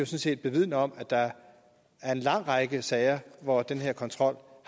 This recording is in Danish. set vidner om at der er en lang række sager hvor den her kontrol